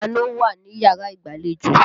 Ta ni ó wà níyàrá ìgbàlejò?